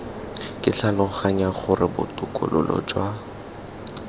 ke tlhaloganya gore botokololo jwa